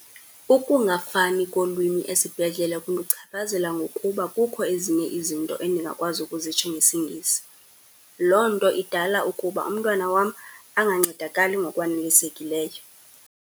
Ukungafani kolwimi esibhedlele kundichaphazela ngokuba kukho ezinye izinto endingakwazi ukuzitsho ngesiNgesi. Loo nto idala ukuba umntwana wam angancedakali ngokwanelisekileyo.